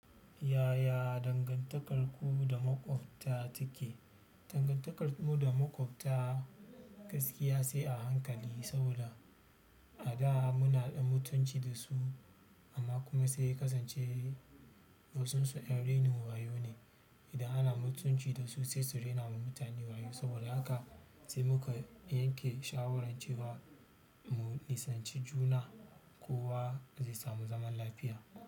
Yaya dangantakarku da maƙwabta take? Dangantakarmu da maƙwabta gaskiya sai a hankali saboda a da muna dan mutunci dasu amma kuma sai ya kasance wasunsu ƴan rainin wayo ne idan ana mutunci dasu sai su rena mu mutane da wayo saboda haka sai muka yanke shawarar cewa mu nisanci juna kowa zai samu zaman lafiya.